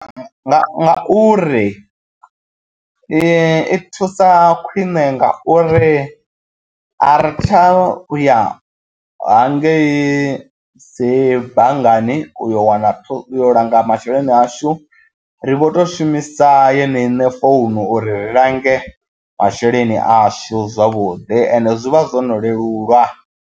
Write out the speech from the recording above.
Ngauri i thusa khwine ngauri ari tsha u ya hangei dzi banngani uyo wana langa masheleni ashu ri vho to shumisa yeneyi ine founu uri ri lange masheleni ashu zwavhuḓi ende zwi vha zwo no lelulwa.